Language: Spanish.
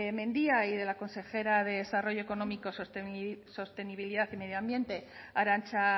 mendia y de la consejera de desarrollo económico sostenibilidad y medio ambiente arantza